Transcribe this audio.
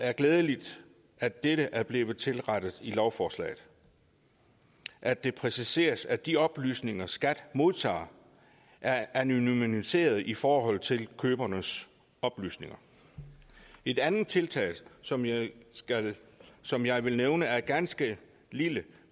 er glædeligt at dette er blevet tilrettet i lovforslaget at det præciseres at de oplysninger skat modtager er anonymiserede i forhold til købernes oplysninger et andet tiltag som jeg som jeg vil nævne er en ganske lille